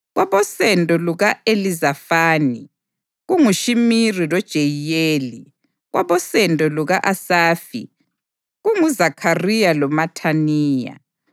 kwabosendo luka-Elizafani, kunguShimiri loJeyiyeli; kwabosendo luka-Asafi, kunguZakhariya loMathaniya;